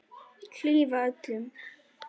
Hlífa öllum.